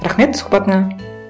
рахмет сұхбатыңа